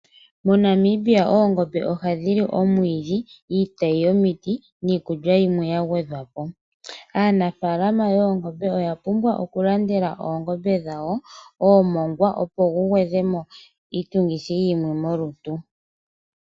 MoNamibia oongombe ohadhi li omwiidhi, iitayi yomiti niikulya yimwe ya gwedhwa po. Aanafalama yoongombe oya pumbwa okulandela oongombe dhawo oomongwa opo gu gwedhe mo iitungithi yimwe molutu.